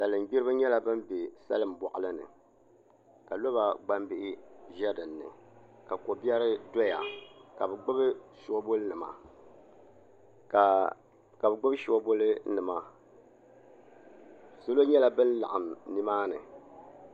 Salin gbiribi nyɛla ban bɛ salin boɣali ni ka loba gbambihi bɛ dinni ka kobiɛri doya ka bi gbubi soobuli nima salo nyɛla bun laɣam nimaa ni